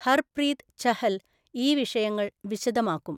ഹർപ്രീത് ഛഹൽ ഈ വിഷയങ്ങൾ വിശദമാക്കും.